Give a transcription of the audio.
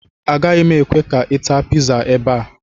Agaghị m ekwe ka ị taa pizza ebe a